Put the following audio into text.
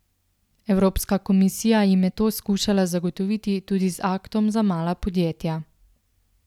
Evropska komisija jim je to skušala zagotoviti tudi z Aktom za mala podjetja.